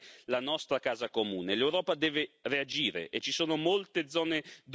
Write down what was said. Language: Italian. L'Europa deve reagire e ci sono molte zone d'ombra da guardare con sospetto.